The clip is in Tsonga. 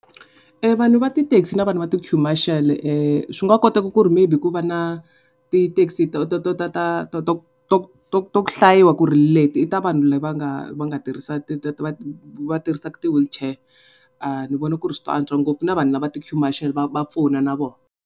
Vanhu va ti-taxi na vanhu va ti-queue marshal swi nga koteka ku ri maybe ku va na ti-taxi to to hlayiwa ku ri leti i ta vanhu lava nga lava nga tirhisa va tirhisaka ti wheelchair ni vona ku ri swi nga antswa ngopfu na vanhu lava ti-queue marshal va pfuna na vona.